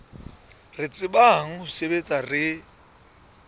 re tsebang ho sebetsa re